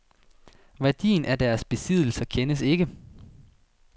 Værdien af deres besiddelser kendes ikke.